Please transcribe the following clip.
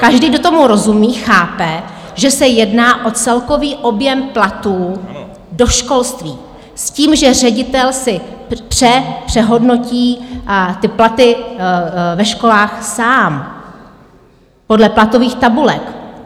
Každý, kdo tomu rozumí, chápe, že se jedná o celkový objem platů do školství s tím, že ředitel si přehodnotí ty platy ve školách sám, podle platových tabulek.